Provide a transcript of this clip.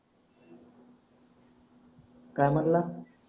काय म्हणला